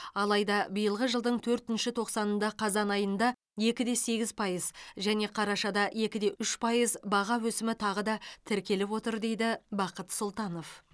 алайда биылғы жылдың төртінші тоқсанында қазан айында екі де сегіз пайыз және қарашада екі де үш пайыз баға өсімі тағы да тіркеліп отыр дейді бақыт сұлтанов